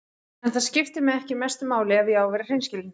En það skiptir mig ekki mestu máli ef ég á að vera hreinskilinn.